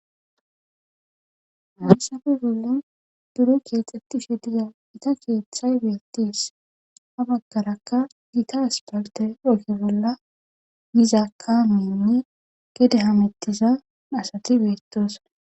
maasafe bolla duro keexxettishe diza ita keeththay beettis ha baggarakka gita aspakte okki bolla yiza kaamenne gede hamettiza asati beettosa